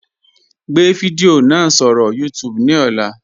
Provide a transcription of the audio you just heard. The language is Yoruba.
Gbẹ̀ fidiò náà sọ̀rọ̀ YouTube ní ọ̀là.